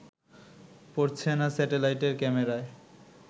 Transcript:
পড়ছে না স্যাটেলাইটের ক্যামেরায়